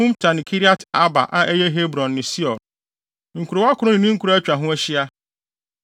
Humta ne Kiriat-Arba (a ɛyɛ Hebron) ne Sior. Nkurow akron ne ne nkuraa a atwa ho ahyia.